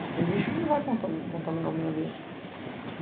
Para o, lixo que não vai contaminar o meio ambiente.